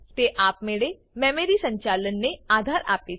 તે આપમેળે મેમરી સંચાલન ને આધાર આપે છે